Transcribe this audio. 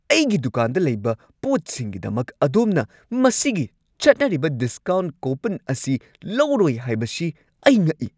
ꯑꯩꯒꯤ ꯗꯨꯀꯥꯟꯗ ꯂꯩꯕ ꯄꯣꯠꯁꯤꯡꯒꯤꯗꯃꯛ ꯑꯗꯣꯝꯅ ꯃꯁꯤꯒꯤ ꯆꯠꯅꯔꯤꯕ ꯗꯤꯁꯀꯥꯎꯟꯠ ꯀꯣꯄꯟ ꯑꯁꯤ ꯂꯧꯔꯣꯏ ꯍꯥꯏꯕꯁꯤ ꯑꯩ ꯉꯛꯏ꯫